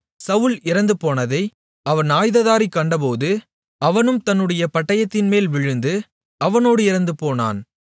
சவுல் இறந்துபோனதை அவன் ஆயுததாரி கண்டபோது அவனும் தன்னுடைய பட்டயத்தின்மேல் விழுந்து அவனோடு இறந்துபோனான்